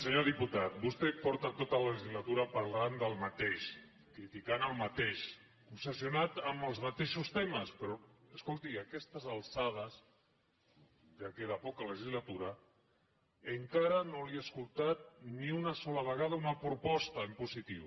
senyor diputat vostè porta tota la legislatura parlant del mateix criticant el mateix obsessionat amb els mateixos temes però escolti a aquestes alçades ja queda poca legislatura encara no li he escoltat ni una sola vegada una proposta en positiu